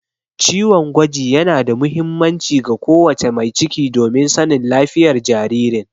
Ciwon gwaji yana da muhimmanci ga ko wace mai ciki domin sanin lafiyar jaririn.